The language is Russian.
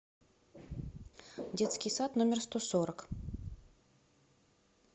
детский сад номер сто сорок